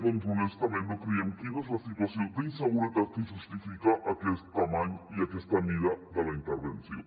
doncs honestament no creiem quina és la situació d’inseguretat que justifica aquesta dimensió i aquesta mida de la intervenció